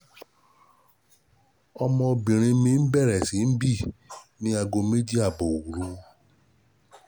Ọmọbìnrin mi bẹ̀rẹ̀ sí í bì ní aago méjì ààbọ̀ òru